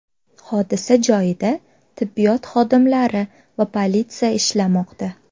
Hodisa joyida tibbiyot xodimlari va politsiya ishlamoqda.